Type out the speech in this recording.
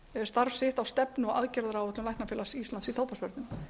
starf sitt á stefnu og aðgerðaráætlun læknafélags íslands í tóbaksvörnum